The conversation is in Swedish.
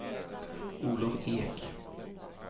Olov Ek